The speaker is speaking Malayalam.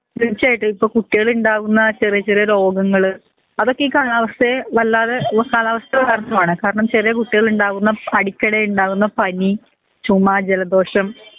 തീർച്ചായിട്ടും ഇപ്പൊ കുട്ടികൾ ഇണ്ടാവുന്ന ചെറിയ ചെറിയ രോഗങ്ങൾ അതൊക്കെ ഈ കാലാവസ്ഥയെ വലാതെ ഓ കാലാവസ്ഥ കാരണമാണ് കാരണം ചെറിയ കുട്ടികൾ ഇണ്ടാവുന്ന അടിക്കടി ഇണ്ടാവുന്ന പനി ചുമ്മ ജലദോഷം